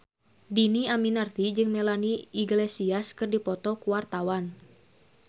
Dhini Aminarti jeung Melanie Iglesias keur dipoto ku wartawan